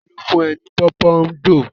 Ta ló fún ẹ ní pòpondò?